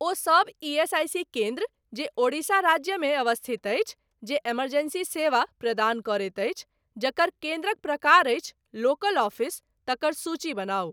ओहि सब ईएसआईसी केन्द्र जे ओडिशा राज्यमे अवस्थित अछि, जे इमरजेंसी सेवा प्रदान करैत अछि, जकर केन्द्रक प्रकार अछि लोकल ऑफिस, तकर सूची बनाउ ।